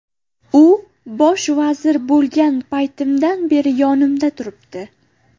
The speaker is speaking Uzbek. U bosh vazir bo‘lgan paytimdan beri yonimda yuribdi.